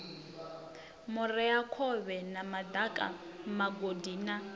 vhureakhovhe na madaka migodi na